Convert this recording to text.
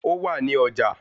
Ó wà ní ọjà